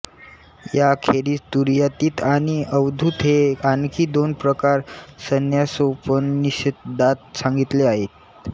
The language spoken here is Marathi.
यांखेरीज तुरीयातीत आणि अवधूत हे आणखी दोन प्रकार संन्यासोपनिषदात सांगितले आहेत